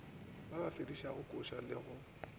a befedišago kose le go